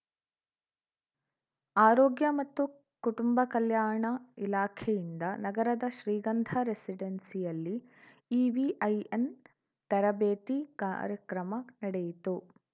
ಆರೋಗ್ಯ ಮತ್ತು ಕುಟುಂಬ ಕಲ್ಯಾಣ ಇಲಾಖೆಯಿಂದ ನಗರದ ಶ್ರೀಗಂಧ ರೆಸಿಡೆನ್ಸಿಯಲ್ಲಿ ಇವಿಐಎನ್‌ ತರಬೇತಿ ಕಾರ್ಯಕ್ರಮ ನಡೆಯಿತು